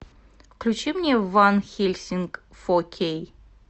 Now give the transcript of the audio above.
включи мне ван хельсинг фо кей